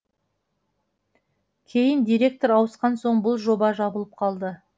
кейін директор ауысқан соң бұл жоба жабылып қалды